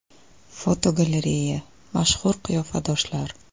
Fotogalereya: Mashhur qiyofadoshlar.